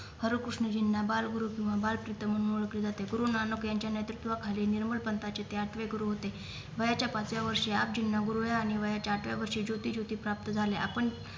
हरी कृष्ण जिन्ना बाल गुरूत्व बाल प्रीतम म्हणून ओळखले जाते गुरु नानक यांच्या नैतृत्वा खाली निर्मळ पंथाचे ते आठवे गुरु होते वयाच्या पाचव्या वर्षी आपजींना गुरु वयाच्या आठव्या वर्षी ज्योती ज्योती प्राप्त झाल्या आपण